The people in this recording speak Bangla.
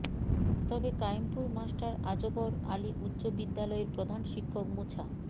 তবে কায়েমপুর মাস্টার আজগর আলী উচ্চ বিদ্যালয়ের প্রধান শিক্ষক মোছা